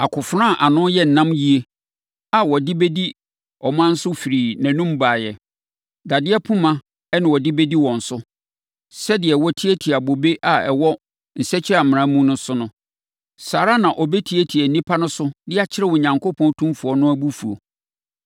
Akofena a ano yɛ nnam yie a ɔde bɛdi aman so firii nʼanom baeɛ. Dadeɛ poma na ɔde bɛdi wɔn so. Sɛdeɛ wɔtiatia bobe a ɛwɔ nsakyiamena mu no so no, saa ara na ɔbɛtiatia nnipa no so de akyerɛ Onyankopɔn Otumfoɔ no abufuo.